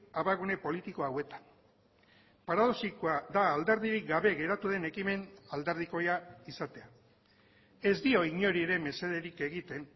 abagune politiko hauetan paradoxikoa da alderdirik gabe geratu den ekimen alderdikoia izatea ez dio inori ere mesederik egiten